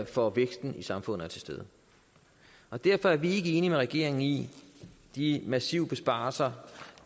for væksten i samfundet er til stede og derfor er vi ikke enige med regeringen i de massive besparelser